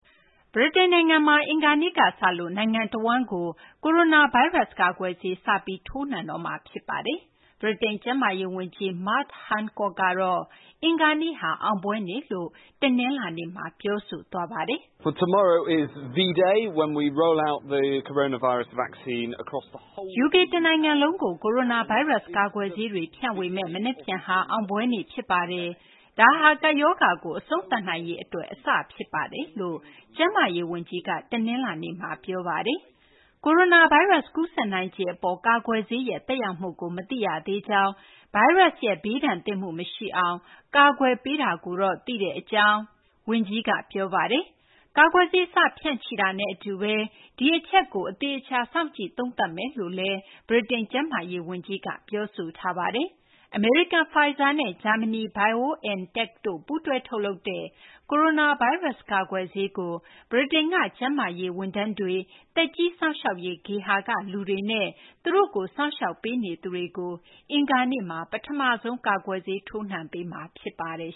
ဗြိတိန် နိုင်ငံမှာ အင်္ဂါနေ့ကစလို့ နိုင်ငံတဝန်းကို ကိုရိုနာ ဗိုင်းရပ်စ် ကာကွယ်ဆေး စပြီး ထိုးနှံပေးတော့မှာ ဖြစ်ပါတယ်။ ဗြိတိန် ကျန်းမာရေး ဝန်ကြီး Matt Hancock ကတော့ အင်္ဂါနေ့ဟာ အောင်ပွဲနေ့လို့ တနလာၤနေ့မှာ ပြောဆိုသွားပါတယ်။ "UK တနိုင်ငံလုံးကို ကိုရိုနာဗိုင်းရပ်စ် ကာကွယ်ဆေးတွေ ဖြန့်ဝေမယ့် မနက်ဖြန်ဟာ အောင်ပွဲ နေ့ ဖြစ်ပါတယ်။ ဒါဟာ ကပ်ဘေးရောဂါကို အဆုံးသတ်နိုင်ရေး အတွက် အစဖြစ်ပါတယ်" လို့ ကျန်းမာရေး ဝန်ကြီးက တနလာၤနေ့မှာ ပြောဆိုပါတယ်။ ကိုရိုနာဗိုင်းရပ်စ် ကူးစက်နိုင်ခြေ အပေါ် ကာကွယ်ဆေးရဲ့ သက်ရောက်မှုကို မသိရသေးကြောင်း၊ ဗိုင်းရပ်စ်ရဲ့ ဘေးဒဏ်သင့်မှု မရှိအောင် ကာကွယ်ပေးတာကိုတော့ သိတဲ့ အကြောင်း ဝန်ကြီးက ပြောပါတယ်။ ကာကွယ်ဆေး စတင် ဖြန့်ချိတာနဲ့ အတူဘဲ ဒီအချက်ကို အသေအချာ စောင့်ကြည့် သုံးသပ်သွားမယ်လို့လည်း ဗြိတိန် ကျန်းမာရေး ဝန်ကြီးက ပြောဆိုပါတယ်။ အမေရိကန် Pfizer နဲ့ ဂျာမနီ BioNTech တို့ ပူးတွဲ ထုတ်လုပ်တဲ့ ကိုရိုနာဗိုင်းရပ်စ် ကာကွယ်ဆေးကို ဗြိတိန်က ကျန်းမာရေး ဝန်ထမ်းတွေ၊ သက်ကြီး စောင့်ရှောက်ရေး ဂေဟာက လူတွေနဲ့ သူတို့ကို စောင့်ရှောက်နေသူတွေကို အင်္ဂါနေ့မှာ ပထမဆုံး ကာကွယ်ဆေး ထိုးနှံပေးမှာ ဖြစ်ပါတယ်